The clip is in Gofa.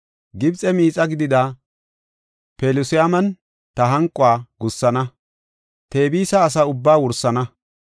Gibxe miixa gidida Pelusiyaman ta hanquwa gussana; Tebisa asa ubbaa wursana.